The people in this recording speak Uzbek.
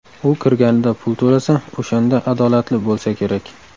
U kirganida pul to‘lasa, o‘shanda adolatli bo‘lsa kerak.